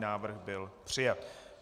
Návrh byl přijat.